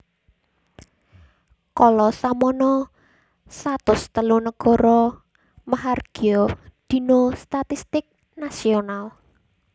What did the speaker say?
Kala samana satus telu nagara mahargya Dina Statistik nasional